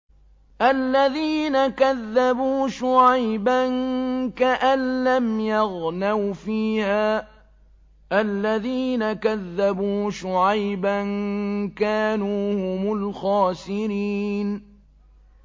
الَّذِينَ كَذَّبُوا شُعَيْبًا كَأَن لَّمْ يَغْنَوْا فِيهَا ۚ الَّذِينَ كَذَّبُوا شُعَيْبًا كَانُوا هُمُ الْخَاسِرِينَ